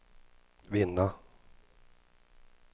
vinna